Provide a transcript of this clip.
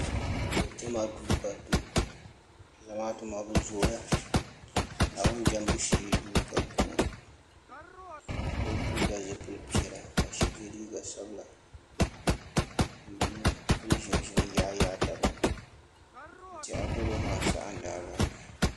jama do ka salo bɛ zamaatu maa be zoya naawuni jamibu shɛɛ ka be piɛlla zibili piɛlla ka yɛ liga sabila be ʒɛmi n yayatabini n tɛya doro saha n.ddbala